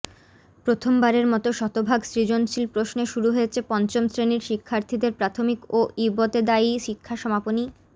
প্রথমবারের মতো শতভাগ সৃজনশীল প্রশ্নে শুরু হয়েছে পঞ্চম শ্রেণির শিক্ষার্থীদের প্রাথমিক ও ইবতেদায়ি শিক্ষা সমাপনী